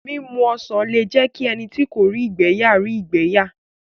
Mímu ọsàn lé jẹ́ kí ẹni tí kò rí ìgbẹ̀ yà rí ìgbẹ́ yà